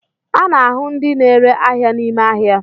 A na ahu ndi n'ere ahia n'ime ahia